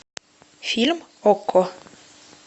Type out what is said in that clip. фильм окко